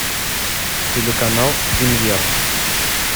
телеканал премьер